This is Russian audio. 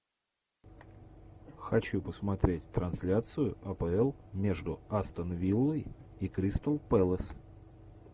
хочу посмотреть трансляцию апл между астон виллой и кристал пэлас